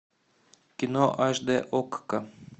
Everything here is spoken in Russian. кино аш дэ окко